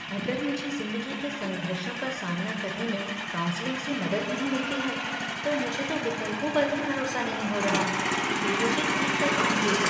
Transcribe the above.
अगर मुझे ज़िंदगी के संघर्षों का सामना करने में काउंसलिंग से मदद नहीं मिलती है, तो मुझे तो विकल्पों पर भी भरोसा नहीं हो रहा कि वे मुझे ठीक कर पाएँगे।